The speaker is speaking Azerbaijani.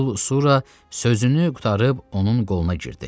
Lentul Sura sözünü qurtarıb onun qoluna girdi.